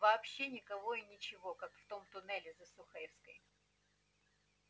вообще никого и ничего как в том туннеле за сухаревской